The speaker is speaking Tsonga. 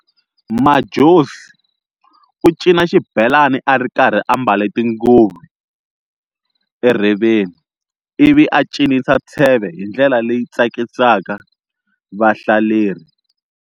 Madjozi u cina xibhelani arikarhi a mbale tinguvu erheveni, ivi a cinisa tsheve hindlela leyi tsakisaka vahlaleri.